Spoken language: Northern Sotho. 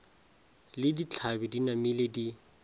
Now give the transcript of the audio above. le ditlhabi di namile di